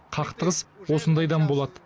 қақтығыс осындайдан болады